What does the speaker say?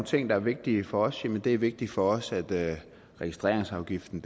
ting der er vigtige for os jamen det er vigtigt for os at registreringsafgiften